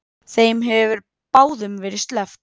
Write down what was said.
Þeim hefur báðum verið sleppt.